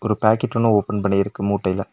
ஒரு பேக்கெட் ஒன்னு ஓபன் பண்ணிருற்கு மூட்டைல.